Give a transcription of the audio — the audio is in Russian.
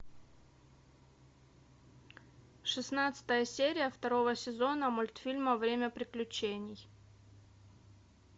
шестнадцатая серия второго сезона мультфильма время приключений